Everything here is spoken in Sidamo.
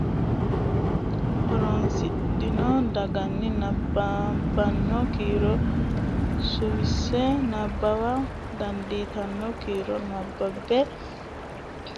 horonsidhanno doogonni nabbabbanno kiiro suwisse nabbawa dandiitanno kiiro nabbabbe amadose maacciishshitino kiiro amado xawissanno coyidhe xawissanno qaallate egenno bowirsidhanno afuu jirte garunni buuxxe coy qaallannita addaarro fiche buuxxe fooliishsho borreessa dandiitanno.